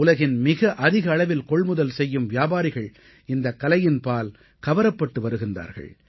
உலகின் மிக அதிக அளவில் கொள்முதல் செய்யும் வியாபாரிகள் இந்தக் கலையின்பால் கவரப்பட்டு வருகிறார்கள்